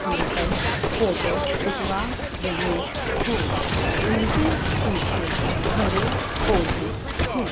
Uncle photo खिंचवा रहे हैं उनके पीछे हरे पौधे हैं।